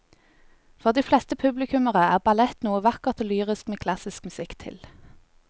For de fleste publikummere er ballett noe vakkert og lyrisk med klassisk musikk til.